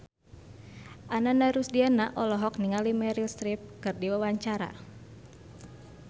Ananda Rusdiana olohok ningali Meryl Streep keur diwawancara